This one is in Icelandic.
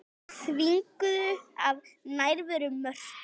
Þvinguð af nærveru Mörtu.